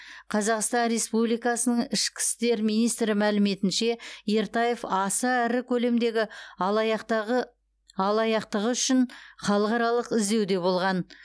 қазақстан республикасының ішкі істер министрі мәліметінше ертаев аса ірі көлемдегі алаяқтығы үшін халықаралық іздеуде болған